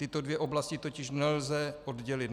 Tyto dvě oblasti totiž nelze oddělit.